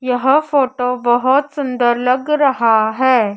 यह फोटो बहोत सुंदर लग रहा है।